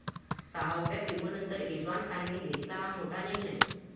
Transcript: सहाव्या कीमोनंतर इरफान खानने घेतला हा मोठा निर्णय